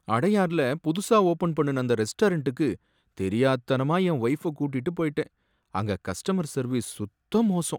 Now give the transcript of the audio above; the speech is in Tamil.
அடையார்ல புதுசா ஓபன் பண்ணுன அந்த ரெஸ்டாரண்டுக்கு தெரியாத்தனமா என் வொய்ஃப கூட்டிட்டு போயிட்டேன், அங்க கஸ்டமர் சர்வீஸ் சுத்த மோசம்